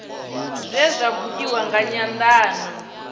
zwe zwa buliwa nga nyandano